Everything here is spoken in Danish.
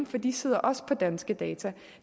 for de sidder også på danske data